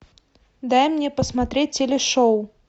дай мне посмотреть телешоу